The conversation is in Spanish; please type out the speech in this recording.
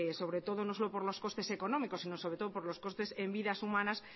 sobre todo no solo por los costes económicos sino sobre todo por los coste en vidas humanas